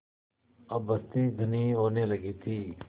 अब बस्ती घनी होने लगी थी